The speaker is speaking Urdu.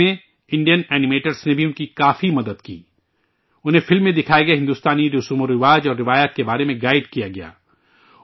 اس میں انڈین اینی میٹرز نے بھی ان کی کافی مدد کی، انہیں فلم میں دکھائے گئے بھارتی رسم ورواج اور روایتوں کے بارے میں گائیڈ کیا گیا